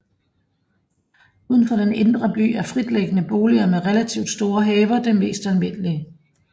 Uden for den indre by er fritliggende boliger med relativt store haver det mest almindelige